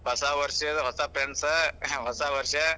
ಹೊಸ ವಷ೯ ಹೊಸ friends ಹೊಸ ವಷ೯.